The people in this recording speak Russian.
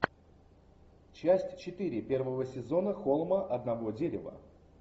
часть четыре первого сезона холма одного дерева